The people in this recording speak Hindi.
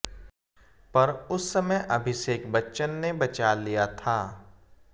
पर उस समय अभिषेक बच्चन ने बचा लिया था